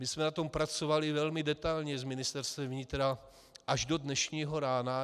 My jsme na tom pracovali velmi detailně s Ministerstvem vnitra až do dnešního rána.